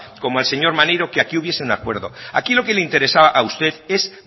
como al señor maneiro que aquí hubiese un acuerdo aquí lo que le interesaba a usted es